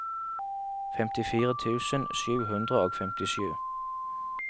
femtifire tusen sju hundre og femtisju